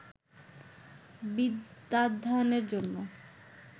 বিদ্যাধ্যয়নের জন্য